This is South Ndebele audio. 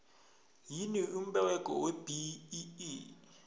yini umberego webee